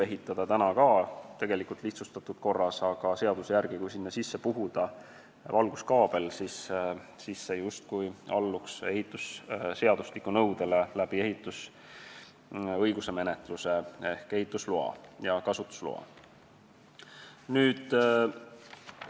Neid võib ka praegu lihtsustatud korras ehitada, aga seaduse järgi on nii, et kui sinna sisse valguskaabel puhuda, siis need justkui alluvad ehitus- ja kasutusloa menetluse kaudu ehitusseadustiku nõuetele.